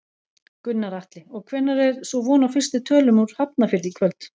Gunnar Atli: Og hvenær er svo von á fyrstu tölum úr Hafnarfirði í kvöld?